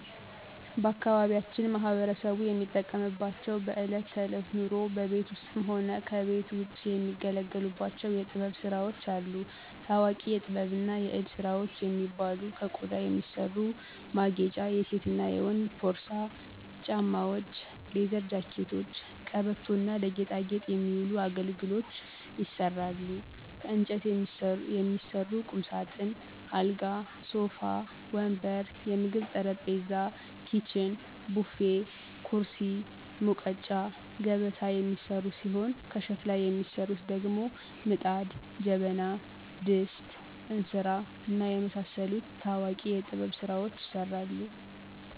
ባአካባቢያችን ማህበረሰቡ የሚጠቀምባቸው በእለት ተእለት ኑሮው በቤት ውስጥም ሆነ ከቤት ውጭ የሚገለገሉባቸው የጥበብ ስራዎች አሉ። ታዎቂ የጥበብና የእጅ ስራዎች የሚባሉ ከቆዳ የሚሰሩ ማጌጫ የሴትና የወንድ ፖርሳ፣ ጫማዎች፣ ሌዘር ጃኬቶች፣ ቀበቶ እና ለጌጣጌጥ የሚውሉ አገልግሎች ይሰራሉ። ከእንጨት የሚሰሩ ቁምሳጥን፣ አልጋ፣ ሶፋ ወንበር፣ የምግብ ጠረጴዛ፣ ኪችን፣ ቡፌ፣ ኩርሲ፣ ሙቀጫ፣ ገበታ የሚሰሩ ሲሆን ከሸክላ የሚሰሩት ደግሞ ምጣድ፣ ጀበና፣ ድስት፣ እንስራ፣ እና የመሳሰሉት ታዎቂ የጥበብ ስራዎች ይሰራሉ።